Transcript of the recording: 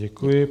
Děkuji.